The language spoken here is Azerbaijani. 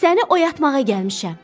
Səni oyatmağa gəlmişəm.